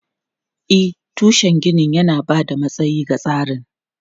E, tushen ginin yana ba da matsayi ga tsarin.